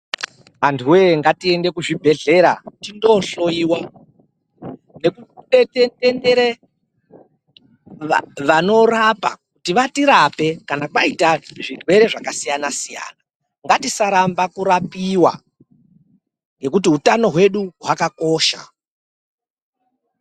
Abtuwe ngatiende kuzvibhehlera tindohloyiwa nekuendere vanorapa kuti vatirape kana kwaita zvirwere zvakasiyana siyana. Ngatisaramba kurapiwa ngekuti utano hwedu hwakakosha.